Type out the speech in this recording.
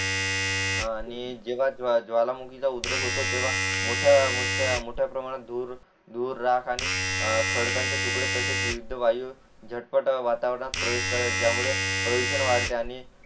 आणि जेव्हा ज्वालामुखीचा उद्रेक होतो तेव्हा मोठ्या मोठ्या प्रमाणात धूर धूर राख आणि खडकांचे तुकडे तसेच विविध वायू झटपट वातावरणात प्रवेश करतात ज्यामुळे प्रदूषण वाढते आणि